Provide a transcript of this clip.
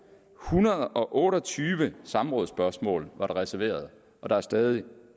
hundrede og otte og tyve samrådsspørgsmål var der reserveret og der er stadig